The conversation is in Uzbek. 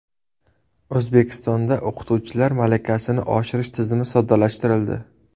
O‘zbekistonda o‘qituvchilar malakasini oshirish tizimi soddalashtirildi.